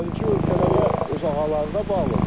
O xarici ölkələrə, öz ağalarına bağlıdır.